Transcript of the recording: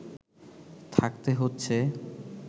থাকতে হচ্ছে